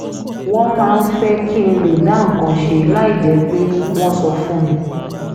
wọ́n máa ń fẹ́ kí n lè dá nǹkan ṣe láì jẹ́ pé wọ́n sọ fún mi